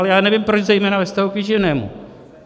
Ale já nevím, proč zejména ve vztahu k výživnému.